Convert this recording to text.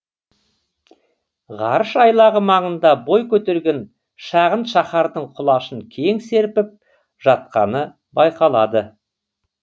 ғарыш айлағы маңында бой көтерген шағын шаһардың құлашын кең серпіп жатқаны байқалады